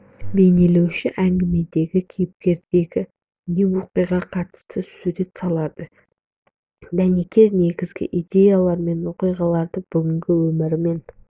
бейнелеуші әңгімедегі кейіпкерге не оқиғаға қатысты сурет салады дәнекер негізгі идеялар мен мен оқиғаларды бүгінгі өмірмен